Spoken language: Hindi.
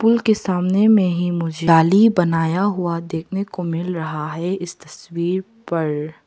पूल के सामने में ही मुझे नाली बनाया हुआ देखने को मिल रहा है इस तस्वीर पर--